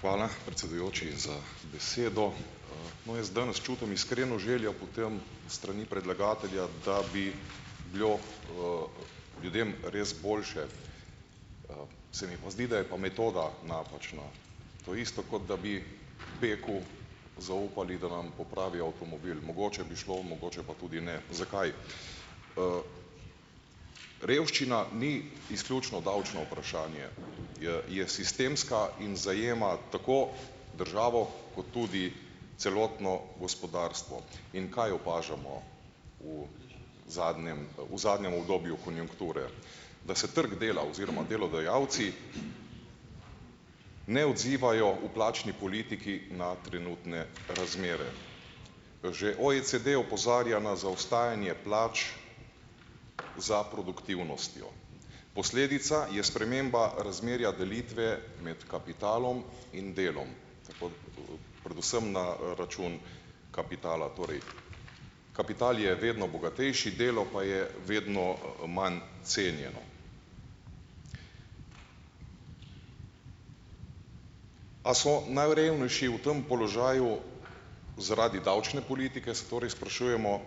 Hvala predsedujoči za besedo. No, jaz danes čutim iskreno željo po tem, s strani predlagatelja, da bi bilo, ljudem res boljše. Se mi pa zdi, da je pa metoda napačna. To je isto, kot da bi peku zaupali, da nam popravi avtomobil. Mogoče bi šlo, mogoče pa tudi ne. Zakaj? Revščina ni izključno davčno vprašanje, je je sistemska in zajema tako državo kot tudi celotno gospodarstvo. In kaj opažamo v zadnjem, v zadnjem obdobju konjunkture? Da se trg dela oziroma delodajalci ne odzivajo v plačni politiki na trenutne razmere. Že OECD opozarja na zaostajanje plač za produktivnostjo. Posledica je sprememba razmerja delitve med kapitalom in delom. Tako, predvsem na, račun kapitala, torej kapital je vedno bogatejši, delo pa je vedno, manj cenjeno. A so najrevnejši v tam položaju zaradi davčne politike, se torej sprašujemo,